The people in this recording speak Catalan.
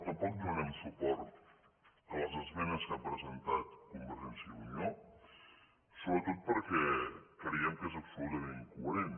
tampoc donarem suport a les esmenes que ha presentat convergència i unió sobretot perquè creiem que és absolutament incoherent